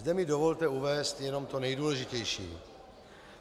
Zde mi dovolte uvést jenom to nejdůležitější.